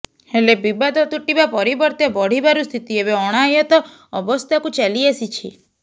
ହେଲେ ବିବାଦ ତୁଟିବା ପରିବର୍ତ୍ତେ ବଢିବାରୁ ସ୍ଥିତି ଏବେ ଅଣାୟତ୍ତ ଅବସ୍ଥାକୁ ଚାଲିଆସିଛି